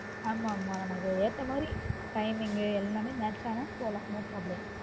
ஆமா மா நமக்கு ஏத்த மாதிரி timing எல்லாமே match ஆனா போகலான் no problem